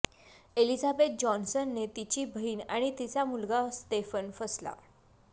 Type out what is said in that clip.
Elizabeth जॉन्सनने तिची बहीण आणि तिचा मुलगा स्तेफन फसला